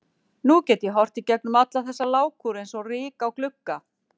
Nú get ég horft í gegnum alla þessa lágkúru eins og ryk á glugga.